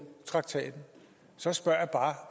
traktaten så spørger